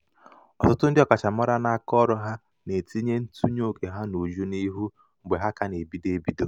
ọtụtụ ndị ọkachamara n'akaọrụ ha na-etinye ntụnye oke ha n'uju n'ihu mgbe ha ka na-ebido ebido.